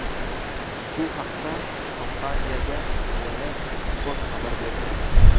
Bu haqda kompaniyaga tayanib, Spot xabar berdi .